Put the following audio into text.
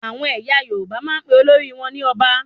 Àwọn ẹyà Yorùbá máa n pe olórí wọn ní Ọba